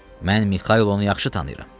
Mən Mixaylonu yaxşı tanıyıram.